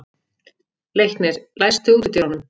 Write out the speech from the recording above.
Leiknir, læstu útidyrunum.